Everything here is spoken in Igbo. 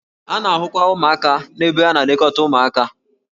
A na-ahụkwa ụmụaka n'ebe a na-elekọta ụmụaka.